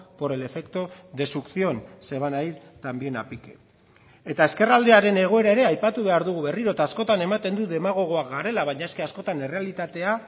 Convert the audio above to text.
por el efecto de succión se van a ir también a pique eta ezkerraldearen egoera ere aipatu behar dugu berriro eta askotan ematen du demagogoak garela baina eske askotan errealitatea